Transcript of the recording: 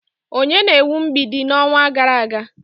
Onye na-ewu mgbidi n'ọnwa gara aga?